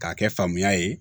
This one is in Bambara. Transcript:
K'a kɛ famuya ye